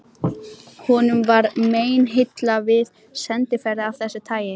Honum var meinilla við sendiferðir af þessu tagi.